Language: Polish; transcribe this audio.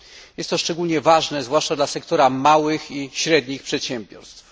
Jest to szczególnie ważne zwłaszcza dla sektora małych i średnich przedsiębiorstw.